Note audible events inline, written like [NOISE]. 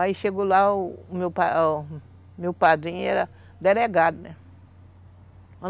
Aí chegou lá o [UNINTELLIGIBLE] meu padrinho, ele era delegado, né?